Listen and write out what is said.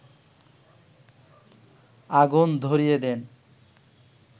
আগুন ধরিয়ে দেন